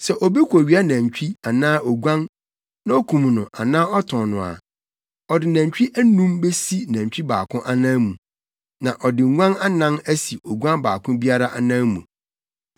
“Sɛ obi kowia nantwi anaa oguan na okum no anaa ɔtɔn no a, ɔde anantwi anum besi nantwi baako anan mu. Na ɔde nguan anan asi oguan baako biara anan mu.